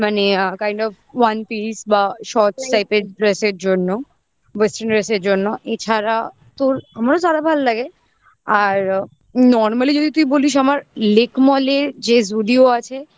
মানে kind of one piece বা shorts type এর dress এর জন্য western dress এর জন্য এছাড়া তো আমরাও যারা ভালো লাগে আর normally যদি তুই বলিস আমার lake mall এ যে Zudio আছে